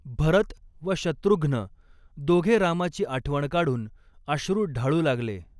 भरत व शत्रुघ्न दोघे रामाची आठवण काढून अश्रू ढाळू लागले.